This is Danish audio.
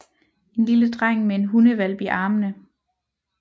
En lille dreng med en hundehvalp i armene